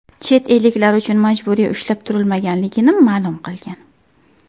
Chet elliklar ular majburiy ushlab turilmaganligini ma’lum qilgan.